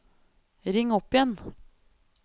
ring opp igjen